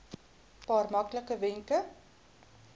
paar maklike wenke